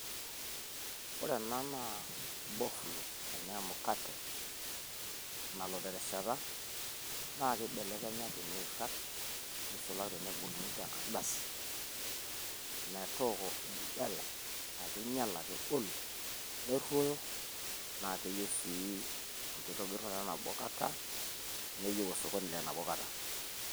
Ore enaa naa bofulo enaa emukate nalo terishata naakeibelekenya tenairag eisulaki teneboluni tenkardasi metooko enkijiape akeinyiala kegolu neroyo naa keeyieu siii enkitabirunoto enabokata neyiu osokoni lenabo kata.